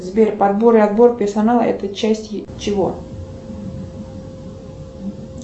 сбер подбор и отбор персонала это часть чего